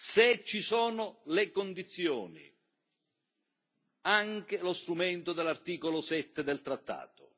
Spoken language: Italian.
se ci sono le condizioni, anche lo strumento dell'articolo 7 del trattato.